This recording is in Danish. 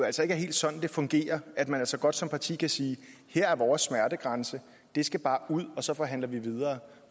altså ikke er helt sådan det fungerer at man altså godt som parti kan sige her er vores smertegrænse det skal bare ud og så forhandler vi videre